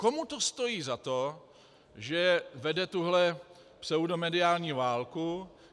Komu to stojí za to, že vede tuhle pseudomediální válku?